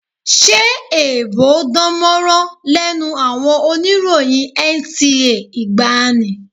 Ṣé èèbò ò dánmọ́rán lẹ́nu àwọn oníròyìn NTA ìgbàanì?